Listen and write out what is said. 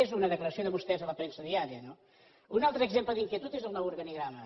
és una declaració de vostès a la premsa diària no un altre exemple d’inquietud és el nou organigrama